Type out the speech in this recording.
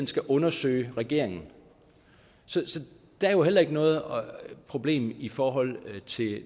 skal undersøge regeringen så der er jo heller ikke noget problem i forhold